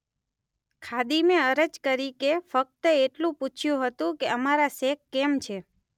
ખાદિમે અરજ કરી કે ફક્ત એટલું પૂછયું હતું કે અમારા શેખ કેમ છે?